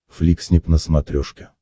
фликснип на смотрешке